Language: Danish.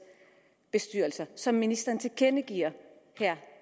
bestyrelser som ministeren tilkendegiver her